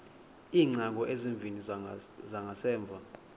iingcango ezimbini zangasemva